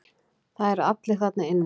Það eru allir þarna inni.